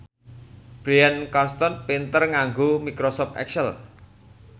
Bryan Cranston pinter nganggo microsoft excel